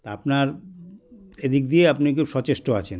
আপনার এদিক দিয়ে আপনি খুব সচেষ্ট আছেন